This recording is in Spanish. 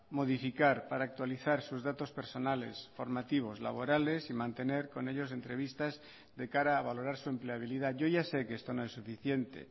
modificar para actualizar sus datos personales formativos laborales y mantener con ellos entrevistas de cara a valorar su empleabilidad yo ya sé que esto no es suficiente